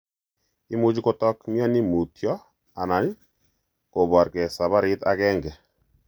Imuche kotok mioni mutyo aln koporge saparit agenge.